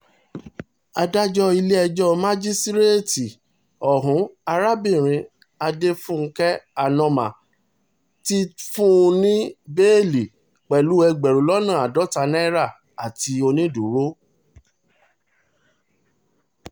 adájọ́ ilé-ẹjọ́ masasíréètì ọ̀hún arábìnrin adéfúnge anoma ti fún un ní ní bẹ́ẹ́lí pẹ̀lú ẹgbẹ̀rún lọ́nà àádọ́ta náírà àti onídúró